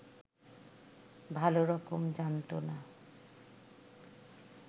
ভালরকম জানত না